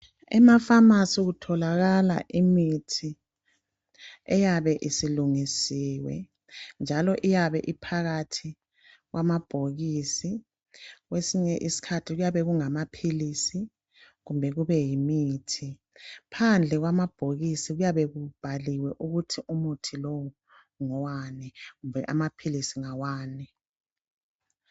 Emapharmacy kutholakala imithi eyabe isilungisiwe njalo iyabe iphakathi kwamabhokisi .Kwesinye iskhathi kuyabe kungama philisi kumbe imithi .Phandle kwamabhokisi kuyabe kubhaliwe ukuthi umuthi kumbe amaphilisi ngawani .